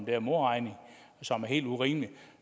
her modregning som er helt urimelig og